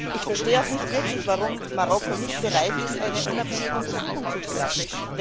Ich verstehe auch nicht wirklich, warum Marokko nicht bereit ist, eine unabhängige Untersuchung zuzulassen.